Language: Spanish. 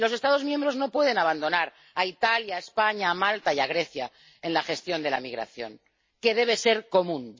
Y los Estados miembros no pueden abandonar a Italia, a España, a Malta y a Grecia en la gestión de la migración, que debe ser común.